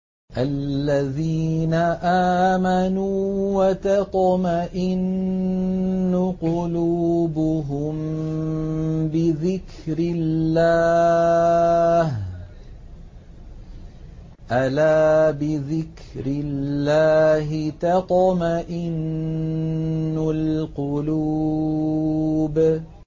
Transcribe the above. الَّذِينَ آمَنُوا وَتَطْمَئِنُّ قُلُوبُهُم بِذِكْرِ اللَّهِ ۗ أَلَا بِذِكْرِ اللَّهِ تَطْمَئِنُّ الْقُلُوبُ